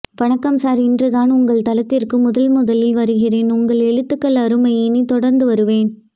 வணக்கம் சார் இன்றுதான் உங்கள் தளத்திற்கு முதன் முதலில் வருகின்றேன் உங்கள் எழுத்துக்கள் அருமை இனி தொடர்ந்து வருவேன்